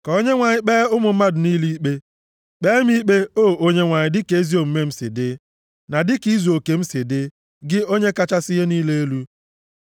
Ka Onyenwe anyị kpee ụmụ mmadụ niile ikpe. Kpee m ikpe, O Onyenwe anyị, dịka ezi omume m si dị, na dịka izuoke m si dị, gị Onye kachasị ihe niile elu.